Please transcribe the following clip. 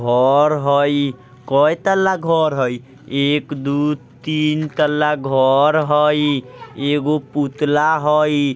और हई कई तल्ला घर हई एक दु तीन तल्ला घर हई। एगो पुतला हई।